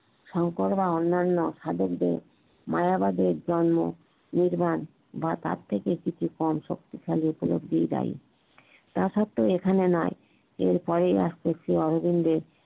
সঙ্কর বা অন্যান্য সাধকদের মায়া বাধে জন্যে নিরমান বা তার থেকে কিছু কম শক্তিশালী উপলব্ধিই দায় টা সত্ত্বেই এখানে নয় এরপরেই আস্তেছে অরবিন্দ